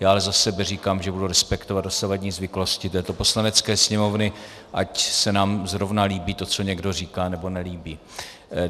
Já ale za sebe říkám, že budu respektovat dosavadní zvyklosti této Poslanecké sněmovny, ať se nám zrovna líbí to, co někdo říká, nebo nelíbí.